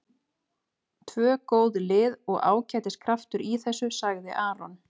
Tvö góð lið og ágætis kraftur í þessu, sagði Aron.